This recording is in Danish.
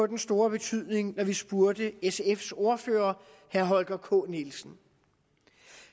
den store betydning da vi spurgte sfs ordfører herre holger k nielsen